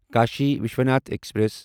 Kashi Vishwanath express